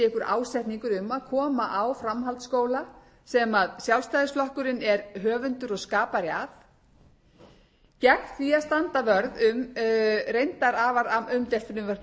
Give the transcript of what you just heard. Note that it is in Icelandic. ásetningur um að koma á framhaldsskóla sem sjálfstæðisflokkurinn er höfundur og skapari að gegn því að standa vörð um reyndar afar umdeilt frumvarp